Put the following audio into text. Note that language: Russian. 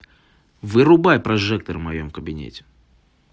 вырубай прожектор в моем кабинете